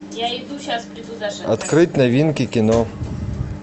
открыть новинки кино